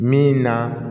Min na